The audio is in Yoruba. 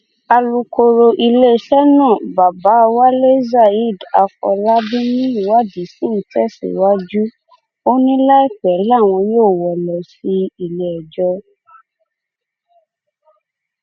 alūkoro iléeṣẹ́ náà babawalé zaid afòlábí ní ìwádìí sì ń tẹ̀síwájú ó ní láìpẹ́ làwọn yóò wọ́ ọ lọ síléẹjọ́